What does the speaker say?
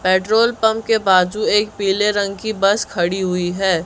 Petrol pump के बाजू एक पीले रंग की बस खड़ी हुई है।